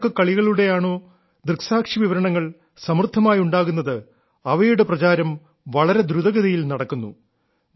ഏതൊക്കെ കളികളുടെയാണോ ദൃക്സാക്ഷി വിവരണം സമൃദ്ധമായുണ്ടാകുന്നത് അവയുടെ പ്രചാരം വളരെ ദ്രുതഗതിയിൽ നടക്കുന്നു